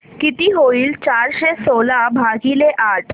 किती होईल चारशे सोळा भागीले आठ